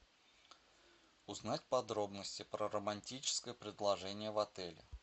узнать подробности про романтическое предложение в отеле